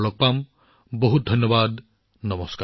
পৰৱৰ্তীবাৰ আমি নতুন বিষয়ৰ সৈতে পুনৰ লগ পাম